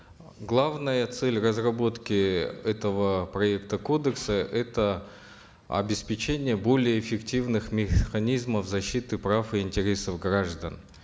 главная цель разработки этого проекта кодекса это обеспечение более эффективных механизмов защиты прав и интересов граждан